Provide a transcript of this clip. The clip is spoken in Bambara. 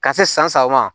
Ka se san saba ma